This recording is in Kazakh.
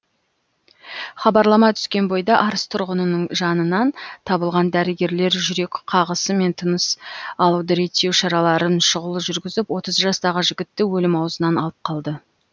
хабарлама түскен бойда арыс тұрғынының жанынан табылған дәрігерлер жүрек қағысы мен тыныс алуды реттеу шараларын шұғыл жүргізіп отыз жастағы жігітті өлім аузынан алып қалды